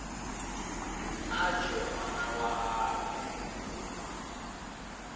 a tšwe ngwana wa gagwe